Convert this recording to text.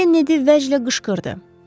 Kennedy vəclə qışqırdı.